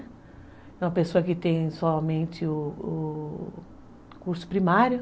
É uma pessoa que tem somente ó ó curso primário.